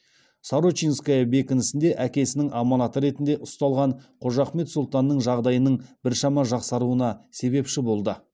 сорочинская бекінісінде әкесінің аманаты ретінде ұсталған қожахмет сұлтанның жағдайының біршама жақсаруына себепші болды